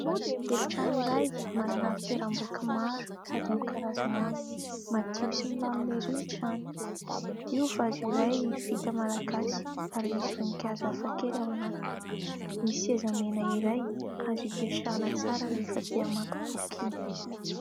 Efitrano iray manana fitoeram-boky maro sady amin'ny karazany avy ; madio sy milamina ery ny trano. Io "vase" iray vita Malagasy ary misy voninkazo hafakely ao anatiny, misy seza mena iray azo hipetrahana tsara rehefa te hamaky boky iny.